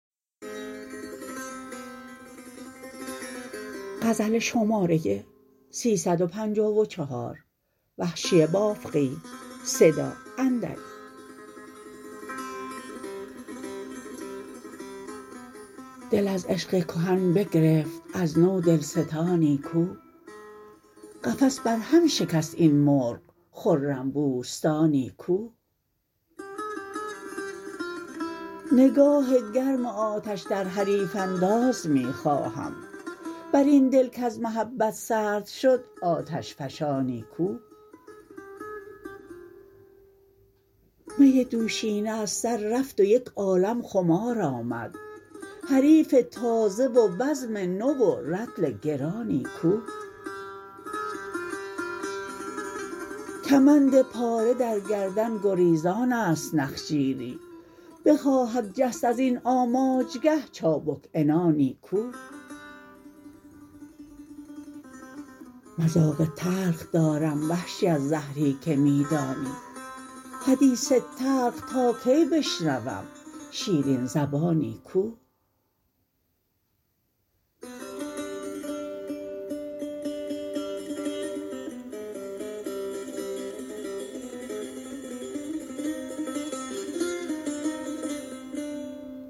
دل از عشق کهن بگرفت از نو دلستانی کو قفس بر هم شکست این مرغ خرم بوستانی کو نگاه گرم آتش در حریف انداز می خواهم بر این دل کز محبت سرد شد آتش فشانی کو می دوشینه از سر رفت و یک عالم خمار آمد حریف تازه و بزم نو و رطل گرانی کو کمند پاره در گردن گریزانست نخجیری بخواهد جست ازین آماجگه چابک عنانی کو مذاق تلخ دارم وحشی از زهری که می دانی حدیث تلخ تا کی بشنوم شیرین زبانی کو